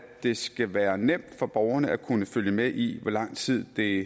det skal være nemt for borgerne at kunne følge med i hvor lang tid det